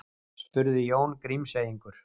spurði Jón Grímseyingur.